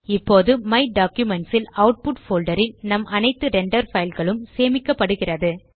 இப்போது my documents ல் output folder ல் நம் அனைத்து ரெண்டர் பைல் களும் சேமிக்கப்படுகிறது